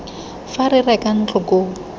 fa re reka ntlo koo